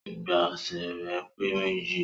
"Igbá ọṣẹ rẹ pe méjì